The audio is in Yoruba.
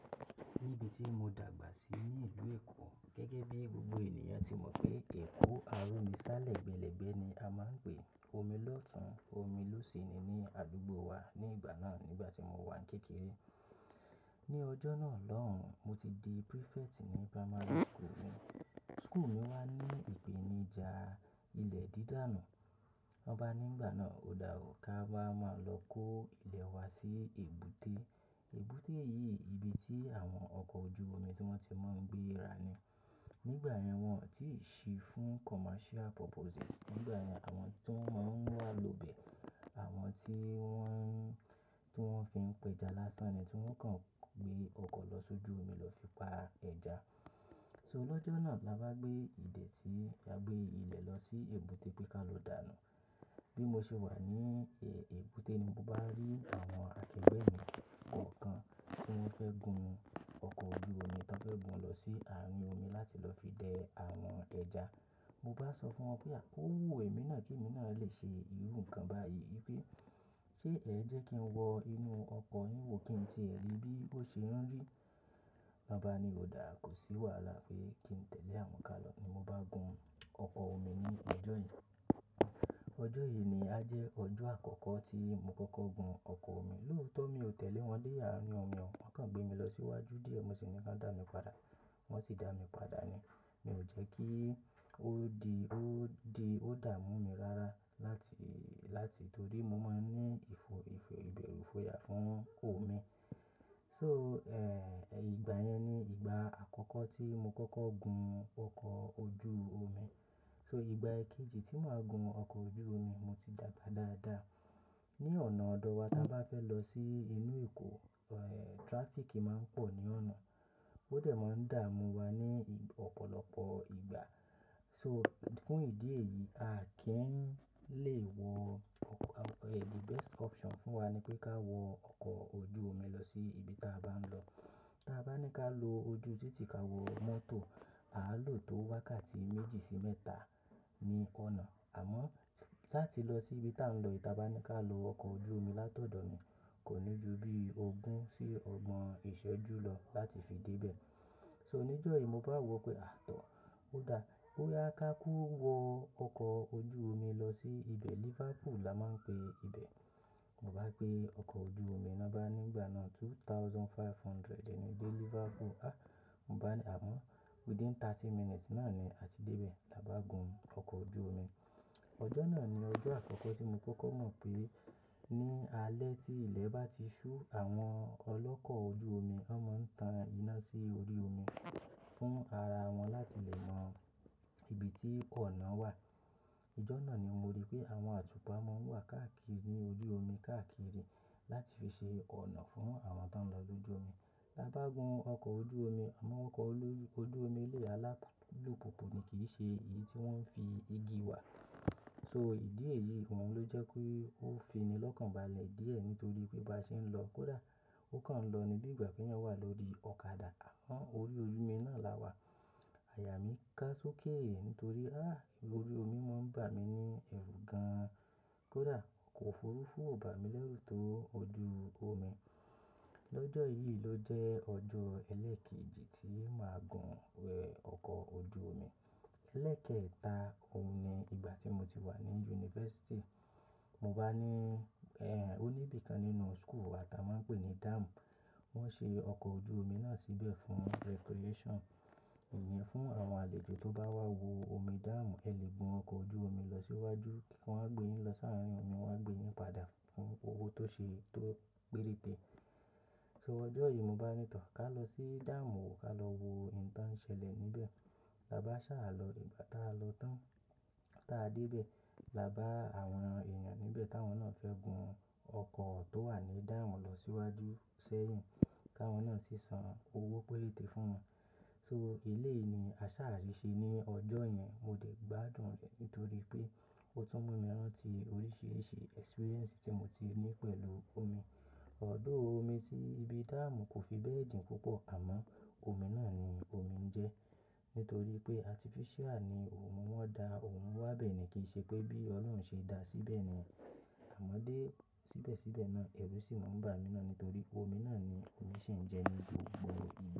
Níbi tí mo dàgbà sí ní ìlú Èkó gẹ́gẹ́ bí gbogbo ènìyàn tí mọ̀ pé Èkó, arómi sá lẹ́gbẹ́lẹ́gbẹ́ ni a máa ń pè. Omi lọ́tun, omi ló sì ni ní àdúgbò wa ní ìgbà náà nígbà tí mo wà ń kékeré. Ni ọjọ́ náà lọ́hùn, mo ti di prefect ní primary school mi. School mi wá ní ìpèníjà ilẹ̀ dídànù. Wọ́n bá ní nígbà náà, "Òdá o, ká wá máa lọ kó ilẹ̀ wa sí èbúté." Èbúté yìí ibi tí àwọn ọkọ̀ ojú omi tí wọ́n ti máa ń gbé ra ni. Nígbà yẹn wọn ò tíì ṣí fún commercial purposes. Nígbà yẹn àwọn tí wọ́n máa ń wà ló ibẹ̀, àwọn tí wọ́n, tí wọ́n fi ń pẹja lásán ni tí wọ́n kàn gbé ọkọ̀ lọ sójú omi lọ fi pa ẹja. So lọ́jọ́ náà la bá gbé ìdẹ̀ tí, la gbé ilẹ̀ lọ sí èbúté pé ká lọ dànù. Bí mo ṣe wà ní, ẹ́, èbúté ni mo bá rí àwọn akẹgbẹ́ mi ọ̀kan tí wọ́n fẹ́ gun ọkọ̀ ojú omi, tí wọ́n fẹ́ gun lọ sí àárín omi láti lọ fi dẹ àwọn ẹja. Mo bá sọ fún wọn pé, "À ó wú èmi náà kí èmi náà lè ṣe irú nǹkan báyìí." wípé, "Ṣé ẹ̀ jẹ́ kí n wọ inú ọkọ̀ yín wo kí n tí ẹ̀ rí bí bó ṣe ń rí?" Wọ́n bá ni, "Òdá, kò sí wàhálà." Pé kí n tẹ̀lé àwọn ká lọ ni mo bá gun ọkọ̀ omi ní ọjọ́ yẹn. Ọjọ́ yìí ni á jẹ́ ọjọ́ àkọ́kọ́ tí mo kọ́kọ́ gun ọkọ̀ omi. Lóòótọ́ mi ò tẹ̀lé wọn dé àárín omi o, wọ́n kàn gbé mi lọ sí iwájú díẹ̀ mo sì ní kí wọ́n dá mi padà, wọ́n sì dá mi padà ni. Mi ò jẹ́ kí ó di, ó di, ó dà mú mi rárá láti, láti torí mo máa ń ní ìfo-ìfo-ìbẹ̀rù ifoya fún omi. So, ẹ́, ìgbà yẹn ni ìgbà àkọ́kọ́ tí mo kọ́kọ́ gun ọkọ̀ ojú omi. So ìgbà kejì tí màá gun ọkọ̀ ojú omi, mo ti dàgbà dáadáa. Ni ọ̀nà ọ̀dọ̀ wa tí a bá fẹ́ lọ sí inú Èkó, ẹ́, traffic máa ń pọ̀ ní ọ̀nà. Ó dẹ̀ máa ń dà mú wa ní ì–ọ̀pọ̀lọpọ̀ ìgbà. So fún ìdí èyí, a kì ń lè wọ ọkọ̀, ẹ́, the best option fún wa ni pé ká wọ ọkọ̀ ojú omi lọ sí ibi tí a bá ń lọ. Tí a bá ní ká lọ ojú títí ká wọ mọ́tò, àá lò tó wákàtí méjì sí mẹ́ta ní ọ̀nà. Àmọ́ láti lọ sí ibi tí à ń lọ, tí a bá ní ká lo ọkọ̀ ojú omi látọ̀dọ̀ mi, kò ní ju bí ogún sí ọgbọ̀n ìṣẹ́jú lọ láti fi dé ibẹ̀. So ní ọjọ́ yìí mo bá wọ pé, "Àtọ̀, ó dára, bóyá ká kú wọ ọkọ̀ ojú omi lọ sí ibẹ̀ Liverpool la máa ń pè ibẹ̀." Mo bá gbé ọkọ̀ ojú omi, wọ́n bá ní nígbà náà two thousand five hundred ẹ̀ ní dé Liverpool. "Àá!" Mo bá ní, àmọ́ within thirty minutes náà ni a ti dé ibẹ̀ lábá gun ọkọ̀ ojú omi. Ọjọ́ náà ni ọjọ́ àkọ́kọ́ tí mo kọ́kọ́ mọ̀ pé ní alẹ́ tí ilẹ̀ bá ti ṣú, àwọn ọlọ́kọ̀ ojú omi, wọn máa ń tan iná sí orí omi fún ara wọn láti lè mọ ibi tí ọ̀nà wà. Ọjọ́ náà ni mo rí pé àwọn atupa máa ń wà káàkiri ní ojú omi káàkiri láti fi ṣe ọ̀nà fún àwọn tí wọ́n ń lọ lójú omi. La bá gun ọkọ̀ ojú omi, àwọn ọkọ̀ olójú-- ojú omi ilé alápùpù ni, kì í ṣe èyí tí wọ́n fi igi wà. So ìdí èyí, òun ló jẹ́ kí ó fini lọ́kànbalẹ̀ díẹ̀ nítorí pé bá ṣe ń lọ kó dàá, ó kàn lọ ni bí ìgbà pé èèyàn wà lórí ọ̀kadà. Àán, orí ojú omi náà la wà. Àyà mí ká sókè nítorí, "Á! Orí omi máa ń bà mí ní ẹ̀rù gan-an." Kó dàá, ọkọ̀ òfurufú ò bà mí lẹ́rù tó ojú omi. Lọ́jọ́ yìí ló jẹ́ ọjọ́ ẹlẹ́ẹ̀kejì tí màá gun, ẹ́, ọkọ̀ ojú omi. Ẹlẹ́ẹ̀kẹta, òun ni ìgbà tí mo ti wà ní yunifásítì. Mo bá ní, ẹ́, òní ibi kan nínú school wa tí a máa ń pè ní dam. Wọ́n ṣe ọkọ̀ ojú omi náà síbẹ̀ fún recreation. Ìnyẹn fún àwọn àlejò tó bá wá wo omi dam, ẹ lè gun ọkọ̀ ojú omi lọ sí iwájú kí wọn gbé yín lọ sáàárín omi, wọn á gbé yín padà fún owó tó ṣe, tó péréte. So ọjọ́ yìí mo bá ní tọ̀, "Ká lọ sí dam wò, ká lọ wo n tàn ṣẹlẹ̀ níbẹ̀." La bá ṣàlọ̀ ní ìgbà tí a lọ tán. Tí a dé ibẹ̀, la bá àwọn ènìyàn níbẹ̀ táwọn náà fẹ́ gun ọkọ̀ tó wà ní dam lọ sí iwájú sẹ́yìn, káwọn náà sì san owó péréte fún wọn. So ieléyìí ni a ṣáà rí ṣe ní ọjọ́ yẹn, mo dẹ̀ gbádùn rẹ̀ nítorí pé ó tún mú mi rántí oríṣiríṣi experience tí mo ti ní pẹ̀lú omi. Although, omi tí ibi dam kò fi bẹ́ẹ̀ jìn púpọ̀, àmọ́ omi náà ni omi ń jẹ. Nítorí pé artificial ni òun, wọ́n da òun wá bẹ́ẹ̀ ni, kì í ṣe pé bí Ọlọ́run ṣe dá a síbẹ̀ ni. Àmọ́ dé síbẹ̀síbẹ̀ náà ẹ̀rù sì máa ń bà mí náà nítorí omi náà ni omi ṣe ń jẹ ní gbogbo ìgbà.